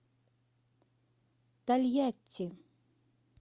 тольятти